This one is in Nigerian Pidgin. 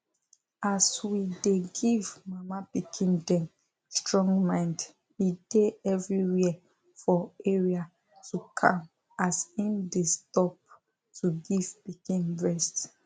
as we dey give mama pikin them strong mind e dey everywhere for areato calm as im dey stop to give pikin breast